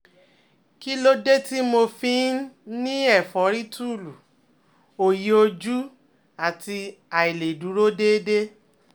Kí ló dé tí mo fi ń ní ẹ̀fọ́rí túúlu, òòyì ojú, àti àìlèdúró déédé?